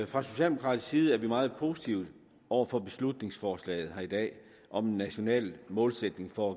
fra socialdemokratisk side er vi meget positive over for beslutningsforslaget her i dag om en national målsætning for